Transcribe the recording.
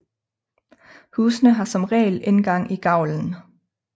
Husene har som regel indgang i gavlen